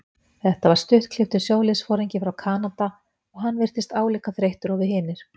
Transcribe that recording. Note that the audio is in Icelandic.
Þetta var stuttklipptur sjóliðsforingi frá Kanada og hann virtist álíka þreyttur og við hinir.